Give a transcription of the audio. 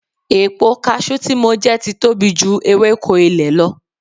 Epo cashew tí mo jẹ ti tóbi ju ewéko ilẹ̀ lọ